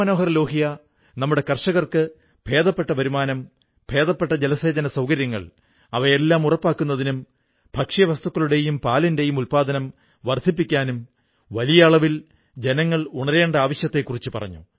രാംമനോഹർ ലോഹ്യാ നമ്മുടെ കർഷകർക്ക് ഭേദപ്പെട്ട വരുമാനം ഭേദപ്പെട്ട ജലസേചന സൌകര്യങ്ങൾ അവയെല്ലാം ഉറപ്പാക്കുന്നതിനും ഭക്ഷ്യവസ്തുക്കളുടെയും പാലിന്റെയും ഉത്പാദനം വർധിപ്പിക്കാനും വലിയ അളവിൽ ജനങ്ങൾ ഉണരേണ്ടതിന്റെ ആവശ്യത്തെക്കുറിച്ചു പറഞ്ഞു